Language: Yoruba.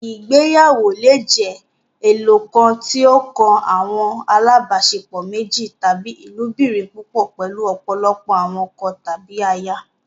Ìgbéyàwó le jẹ ẹyọkan, tí o kan awọn alabaṣepọ méjì, tàbí ilobirin púpọ, pẹlu ọpọlọpọ awọn ọkọ tàbí àyà